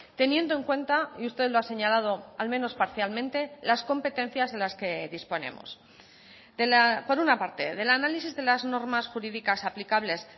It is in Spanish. teniendo en cuenta y usted lo ha señalado al menos parcialmente las competencias de las que disponemos por una parte del análisis de las normas jurídicas aplicables